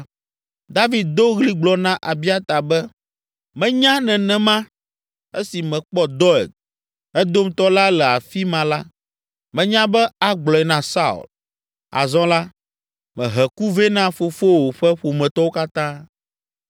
David do ɣli gblɔ na Abiata be, “Menya nenema! Esi mekpɔ Doeg, Edomtɔ la le afi ma la, menya be agblɔe na Saul. Azɔ la, mehe ku vɛ na fofowò ƒe ƒometɔwo katã.